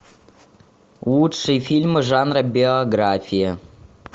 лучшие фильмы жанра биография